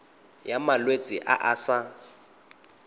ya malwetse a a sa